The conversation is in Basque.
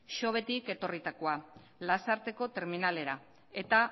xovetik etorritakoa lasarteko terminalera eta